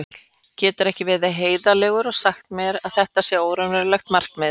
Geturðu ekki verið heiðarlegur og sagt mér að þetta sé óraunhæft markmið?